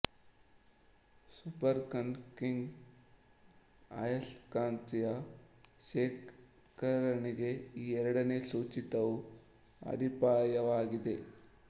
super conducting ಆಯಸ್ಕಾಂತೀಯ ಶೇಖರಣೆಗೆ ಈ ಎರಡನೆ ಸೂಚಿತವು ಅಡಿಪಾಯವಾಗಿದೆ